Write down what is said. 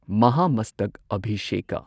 ꯃꯍꯥꯃꯁꯇꯛ ꯑꯚꯤꯁꯦꯀꯥ